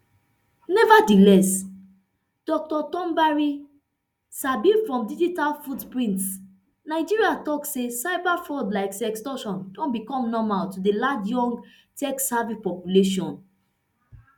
nevertheless dr tombari sibe from digital footprints nigeria tok say cyberfraud like sextortion don become normal to di large young techsavvy population